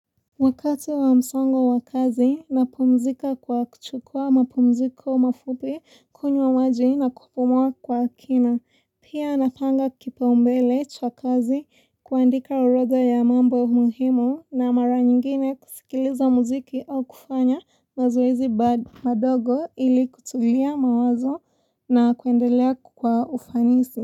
Wakati wa msongo wa kazi, napumzika kwa kuchukua mapumziko mafupi kunywa maji na kupumuwa kwa kina. Pia napanga kipaumbele cha kazi kuandika orodha ya mambo muhimu na mara nyingine kusikiliza muziki au kufanya mazoezi bado madogo ili kutulia mawazo na kuendelea kwa ufanisi.